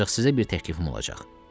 Ancaq sizə bir təklifim olacaq.